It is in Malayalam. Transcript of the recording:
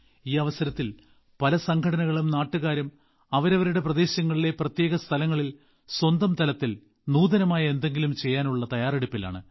ഈ അവസരത്തിൽ പല സംഘടനകളും നാട്ടുകാരും അവരവരുടെ പ്രദേശങ്ങളിലെ പ്രത്യേക സ്ഥലങ്ങളിൽ സ്വന്തംതലത്തിൽ നൂതനമായ എന്തെങ്കിലും ചെയ്യാനുള്ള തയ്യാറെടുപ്പിലാണ്